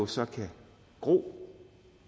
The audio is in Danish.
så kan gro